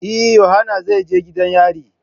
Eh, yohana zai je gidan yari.